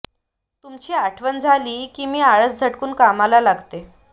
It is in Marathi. तुमची आठवण झाली की मी आळस झटकून कामाला लागते